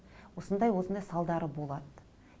осындай осындай салдары болады